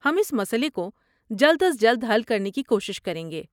ہم اس مسئلے کو جلد از جلد حل کرنے کی کوشش کریں گے۔